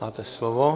Máte slovo.